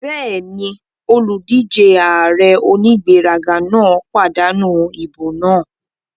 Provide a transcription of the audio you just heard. Bẹ́ẹ̀ni, olùdíjé ààrẹ onígbéraga náà pàdánù ìbò náà